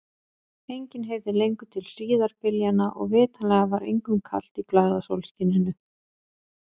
Enginn heyrði lengur til hríðarbyljanna og vitanlega var engum kalt í glaða sólskininu.